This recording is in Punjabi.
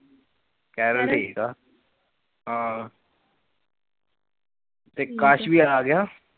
ਕੇਰਲ, ਕੇਰਲ ਠੀਕ ਆ, ਹਾਂ, ਠੀਕ ਆ, ਤੇ ਕਸ਼ ਵੀ ਆਗਿਆ